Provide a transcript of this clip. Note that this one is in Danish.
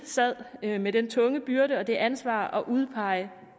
sad alene med den tunge byrde og det ansvar at udpege